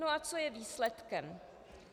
No a co je výsledkem?